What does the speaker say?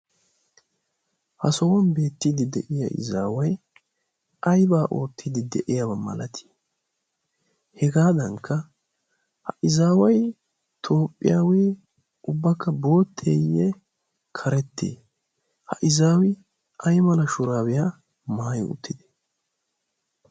ha sohuwan beettiiddi de'iya izaawai aybaa oottiiddi de'iya malatii hegaadankka ha izaaway toophphiyaawee ubbakka bootteeyye karettie ha izaawi ai mala shuraabiyaa maayo uttide?